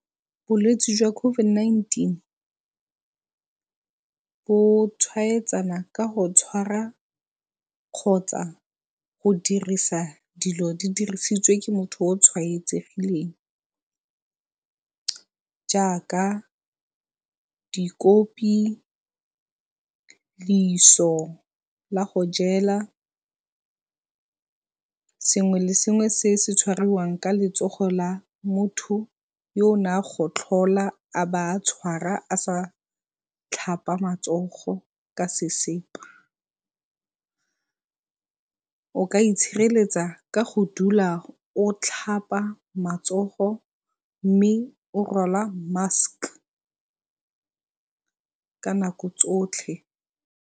Bolwetsi jwa COVID-19 bo tshwaetsana ka go tshwara kgotsa go dirisa dilo di dirisitswe ke motho o o tshwaetsegileng jaaka dikopi, la go jela, sengwe le sengwe se se tshwariwang ka letsogo la motho yo o ne a gotlhola a ba a tshwara a sa tlhapa matsogo ka sesepa. O ka itshireletsa ka go dula o tlhapa matsogo mme o rwala mask ka nako tsotlhe.